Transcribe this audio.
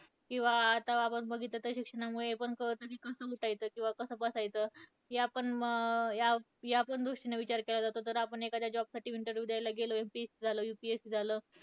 किंवा आता आपण बघितलं तर, शिक्षणामुळे हे पण कळतं की, कसं उठायचं किंवा कसं बसायचं. या पण, या पण गोष्टींने विचार केला जातो. तर आपण एखाद्या job साठी interview द्यायला गेलो, MPSC झालं UPSC झालं,